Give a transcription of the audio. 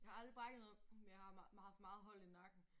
Jeg har aldrig brækket noget men jeg har haft meget hold i nakken